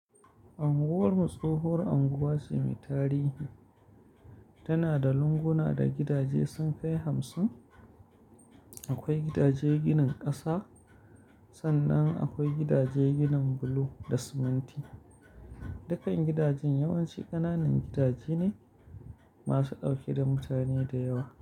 Anguwar Mu tsohowar unguwa ce mai tarihi. Tana da lunguna da gidaje sun kai hamsin. Akwai gidaje ginin ƙasa, sannan akwai gidaje ginin bulo da siminti. Dukkan gidajen yawanci ƙananan gidaje ne masu ɗauke da mutane da yawa.